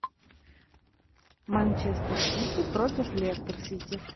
манчестер сити против лестер сити